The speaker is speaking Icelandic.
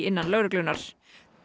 innan lögreglunnar